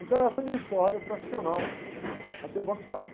Então essa é a minha história profissional até o Banco Safra.